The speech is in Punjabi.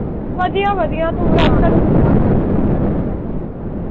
ਵਧੀਆ ਵਧੀਆ ਤੂੰ ਦੱਸ ਘਰੇ ਕਿੱਦਾਂ